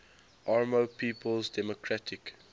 oromo people's democratic